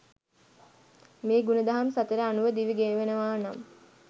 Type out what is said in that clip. මේ ගුණ දහම් සතර අනුව දිවි ගෙවනවානම්